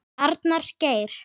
Arnar Geir.